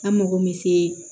An mago bɛ se